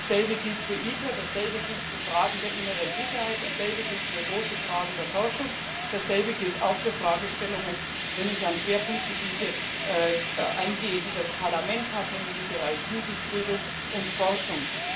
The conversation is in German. Dasselbe gilt für ITER, dasselbe gilt für Fragen der inneren Sicherheit, dasselbe gilt für große Fragen der Forschung, dasselbe gilt auch für Fragestellungen, wenn ich auf Schwerpunktgebiete eingehe, die das Parlament hat, nämlich im Bereich Jugendbildung und Forschung.